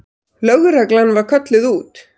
Lögreglan var kölluð út.